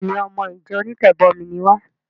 Béèni! Ọmọ ìjọ onítẹ̀bọmi ni wá.